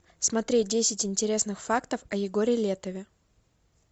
смотреть десять интересных фактов о егоре летове